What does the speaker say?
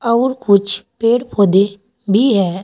और कुछ पेड़ पौधे भी है।